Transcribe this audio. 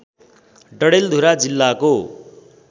डडेलधुरा जिल्लाको